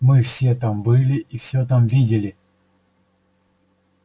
мы все там были и всё там видели